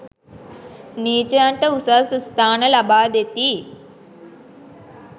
නීචයන්ට උසස් ස්ථාන ලබා දෙති.